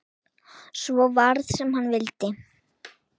Svo varð sem hann vildi.